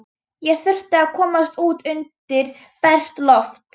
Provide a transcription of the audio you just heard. Ég þurfti að komast út undir bert loft.